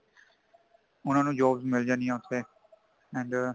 ਉਨ੍ਹਾਂਨੂੰ jobs ਮੀਲ ਜਾਂਦੀਆਂ ਉੱਥੇ and